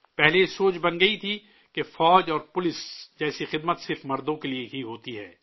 پہلے یہ تصور بن گیا تھا کہ فوج اور پولیس جیسی سروس صرف مردوں کے لیے ہی ہوتی ہے